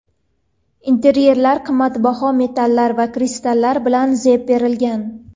Interyerga qimmatbaho metallar va kristallar bilan zeb berilgan.